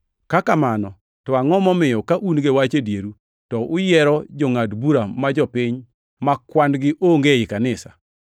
Ka kamano, to angʼo momiyo ka un gi wach e dieru, to uyiero jongʼad bura ma jopiny ma kwan-gi onge ei kanisa.